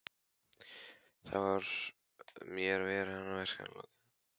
Þar með var hans verkefni lokið.